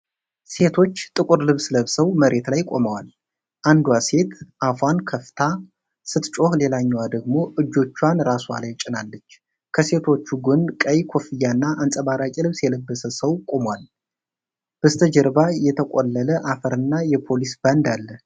ሴቶች ጥቁር ልብስ ለብሰው መሬት ላይ ቆመዋል፤ አንዷ ሴት አፏን ከፍታ ስትጮህ ሌላኛዋ ደግሞ እጆቿን ራስዋ ላይ ጭናለች። ከሴቶቹ ጎን ቀይ ኮፍያና አንጸባራቂ ልብስ የለበሰ ሰው ቆሟል፤ በስተጀርባ የተቆለለ አፈርና የፖሊስ ባንድ አለ።